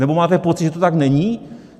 Nebo máte pocit, že to tak není?